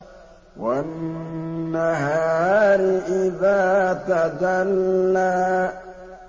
وَالنَّهَارِ إِذَا تَجَلَّىٰ